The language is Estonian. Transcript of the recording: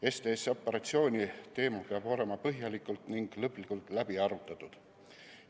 STS-operatsiooni teema peab olema põhjalikult ning lõplikult läbi arutatud.